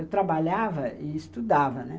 Eu trabalhava e estudava, né?